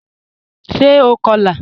Ṣé ó kọ́lá?